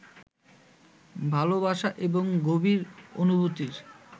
ভালবাসা এবং গভীর অনুভূতির